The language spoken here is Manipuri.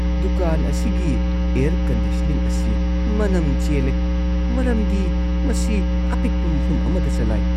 ꯗꯨꯀꯥꯟ ꯑꯁꯤꯒꯤ ꯑꯦꯌꯔ ꯀꯟꯗꯤꯁꯅꯤꯡ ꯑꯁꯤ ꯃꯅꯝ ꯆꯦꯜꯂꯦ ꯃꯔꯝꯗꯤ ꯃꯁꯤ ꯑꯄꯤꯛꯄ ꯃꯐꯝ ꯑꯃꯗ ꯆꯂꯥꯏ ꯫